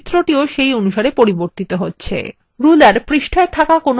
ruler পৃষ্ঠায় একটি বস্তুর আকার দেখায়